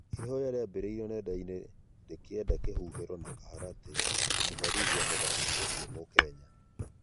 ihoya rĩrambĩrĩirĩo nenda-ĩnĩ rĩkĩenda kihũhĩro na kaharatĩ kumũherĩthĩa mũthakĩ ũcĩo mukenya